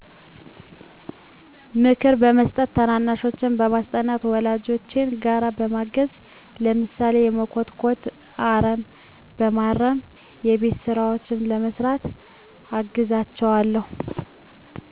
ምክር በመስጠት ታናናሾቼን በማስጠናት ወላጆቼን ስራ በማገዝ ለምሳሌ በመኮትኮት አረም በማረም የቤት ስራዎችን በመስራት አግዛቸዋለሁ